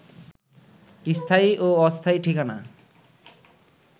স্থায়ী ও অস্থায়ী ঠিকানা